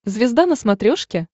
звезда на смотрешке